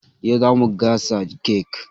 Yau zamu gasa kek.